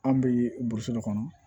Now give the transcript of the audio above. An bɛ burusi de kɔnɔ